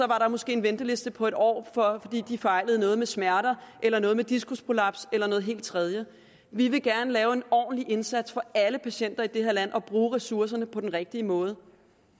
der måske en venteliste på en år fordi de fejlede noget med smerter eller noget med diskusprolaps eller noget helt tredje vi vil gerne lave en ordentlig indsats for alle patienter i det her land og bruge ressourcerne på den rigtige måde